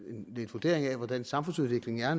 vurdering af hvordan samfundsudviklingen er